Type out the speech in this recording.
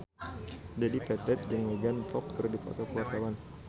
Dedi Petet jeung Megan Fox keur dipoto ku wartawan